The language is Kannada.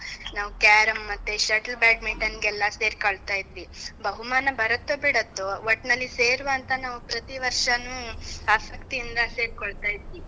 ನಾವ್ carrom , ಮತ್ತೆ shuttle badminton ನ್ಗೆಲ್ಲ ಸೇರ್ಕೊಳ್ತಾ ಇದ್ದ್ವಿ. ಬಹುಮಾನ ಬರತ್ತೋ ಬಿಡತ್ತೋ, ಒಟ್ಟ್ನಲ್ಲಿ ಸೇರ್ವಾಂತ ನಾವ್ ಪ್ರತಿ ವರ್ಷನೂ ಆಸಕ್ತಿಯಿಂದ ಸೇರ್ಕೊಳ್ತಾ ಇದ್ವಿ.